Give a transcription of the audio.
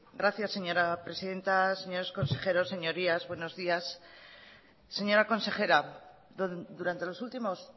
gracias señora presidenta señores consejeros señorías buenos días señora consejera durante los últimos